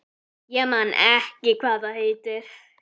Ég man ekki hvað það heitir.